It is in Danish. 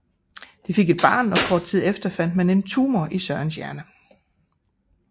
De fik et barn og kort tid efter fandt man en tumor i Sørens hjerne